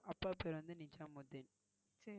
அப்பா பெயர் வந்து நிஜம் மெய்த்தேன்